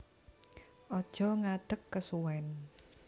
Aja ngadeg kesuwèn